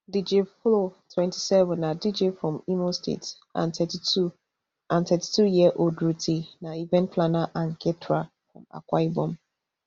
dj flo twenty-seven na dj from imo state and thirty-two and thirty-two year old ruthee na event planner and caterer from akwa ibom